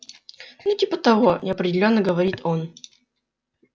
ну типа того неопределённо говорит он